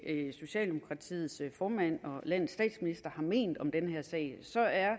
socialdemokratiets formand og landets statsminister har ment om den her sag så er